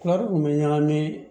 Kɔɔri kun bɛ ɲagami